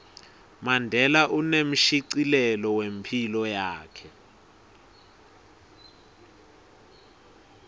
mandela unemshicilelo wephilo yakhe